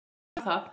En hún var það.